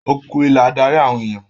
òkun ìlà darí àwọn ènìyàn.